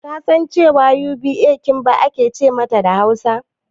Kasan cewa Uda "Kimba" ake ce mata da Hausa?